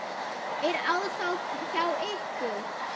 Er ásókn hjá ykkur?